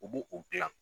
U b'o o gilan